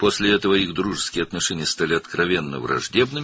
Bundan sonra onların dostluq münasibətləri açıq-aydın düşmənçilik xarakteri aldı.